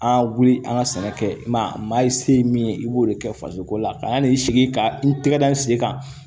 An wuli an ka sɛnɛ kɛ ma maa ye se ye min ye i b'o de kɛ fasoko la ka n'i sigi ka n tɛgɛ da n sen kan